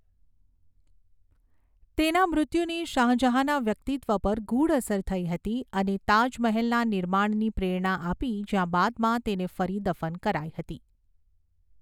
તેના મૃત્યુની શાહ જહાંના વ્યક્તિત્વ પર ગૂઢ અસર થઈ હતી અને તાજ મહેલના નિર્માણની પ્રેરણા આપી જ્યાં બાદમાં તેને ફરી દફન કરાઈ હતી.